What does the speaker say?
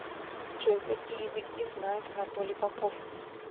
джой какие языки знает анатолий попов